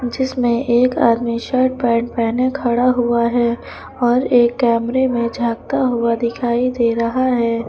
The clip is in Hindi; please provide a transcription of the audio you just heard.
जिसमें एक आदमी शर्ट पैंट पहने खड़ा हुआ है और एक कैमरे में झांकता हुआ दिखाई दे रहा है।